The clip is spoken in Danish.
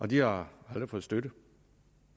de har aldrig fået støtte